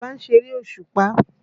Àlàbá ń ṣeré òṣùpà.